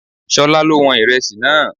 Ṣolá ló wọn Ìrẹsì náà.